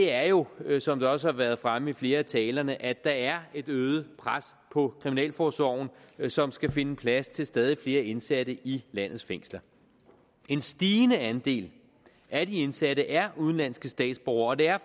er jo som det også har været fremme i flere af talerne at der er et øget pres på kriminalforsorgen som skal finde plads til stadig flere indsatte i landets fængsler en stigende andel af de indsatte er udenlandske statsborgere og det er